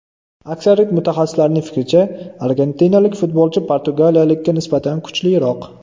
Aksariyat mutaxassislarning fikricha, argentinalik futbolchi portugaliyalikka nisbatan kuchliroq.